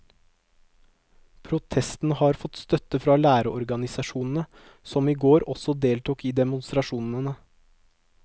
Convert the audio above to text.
Protestene har fått støtte fra lærerorganisasjonene, som i går også deltok i demonstrasjonene.